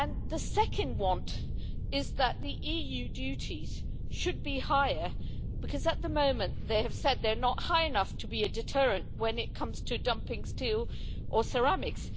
The second want is that the EU duties should be higher because, at the moment, they have said that they're not high enough to be a deterrent when it comes to dumping steel or ceramics.